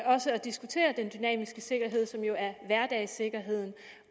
også at diskutere den dynamiske sikkerhed som jo er hverdagssikkerheden